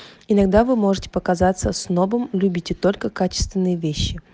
иногда вы можете показаться с новым любите только качественные вещи